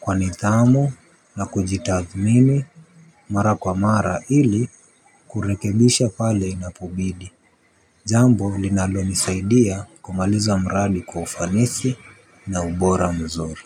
kwa nithamu na kujitathmimi mara kwa mara ili kurekebisha pale inapobidi. Jambo linalonisaidia kumaliza mradi kwa ufanisi na ubora mzuri.